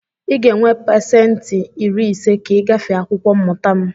Ị ga-enwe pasentị iri ise ka ị gafee akwụkwọ mmụta m!